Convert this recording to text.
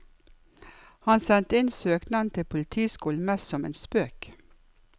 Han sendte inn søknaden til politiskolen mest som en spøk.